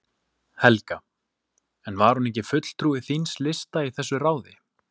Helga: En var hún ekki fulltrúi þíns lista í þessu ráði?